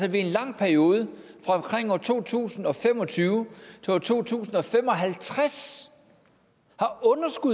at vi i en lang periode fra omkring år to tusind og fem og tyve til år to tusind og fem og halvtreds